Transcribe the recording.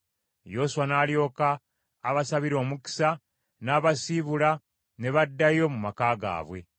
Yoswa n’alyoka abasabira omukisa n’abasiibula ne baddayo mu maka gaabwe.